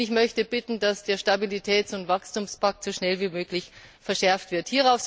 Und ich möchte darum bitten, dass der Stabilitäts und Wachstumspakt so schnell wie möglich verschärft wird.